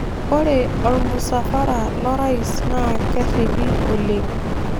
Ore ormusafara lo orais naa kerripi oleng'